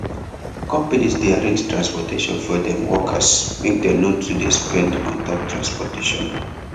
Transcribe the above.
conpanies dey arrange transportation for dem workers make dem no too dey spend on top transport